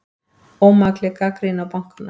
Ómakleg gagnrýni á bankana